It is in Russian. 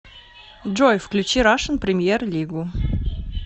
джой включи рашн премьер лигу